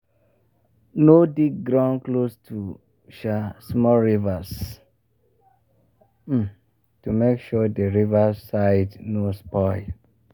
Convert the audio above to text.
no dig ground close to um small rivers um to make sure the river side no spoil.